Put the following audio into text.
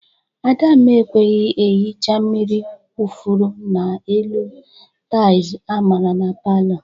Adamma ekweghi ehecha mmiri kwufuru n'elu taịlz amara na palọ.